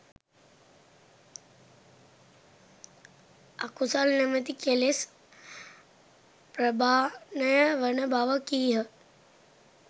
අකුසල් නමැති කෙලෙස් ප්‍රහාණය වන බව කීහ